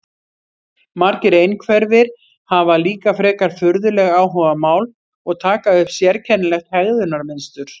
Margir einhverfir hafa líka frekar furðuleg áhugamál og taka upp sérkennilegt hegðunarmynstur.